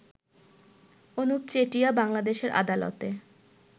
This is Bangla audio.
অনুপ চেটিয়া বাংলাদেশের আদালতে